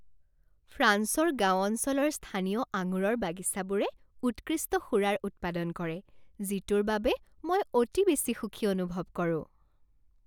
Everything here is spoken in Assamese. ফ্ৰান্সৰ গাঁও অঞ্চলৰ স্থানীয় আঙুৰৰ বাগিচাবোৰে উৎকৃষ্ট সুৰাৰ উৎপাদন কৰে যিটোৰ বাবে মই অতি বেছি সুখী অনুভৱ কৰোঁ।